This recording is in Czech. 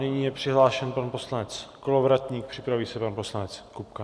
Nyní je přihlášen pan poslanec Kolovratník, připraví se pan poslanec Kupka.